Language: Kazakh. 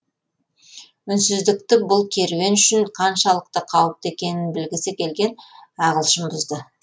үнсіздікті бұл керуен үшін қаншалықты қауіпті екенін білгісі келген ағылшын бұзды